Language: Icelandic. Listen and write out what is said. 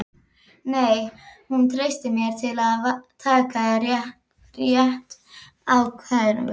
Nei, hún treystir mér til að taka rétta ákvörðun.